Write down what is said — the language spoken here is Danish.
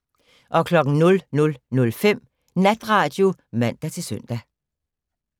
00:05: Natradio (man-søn)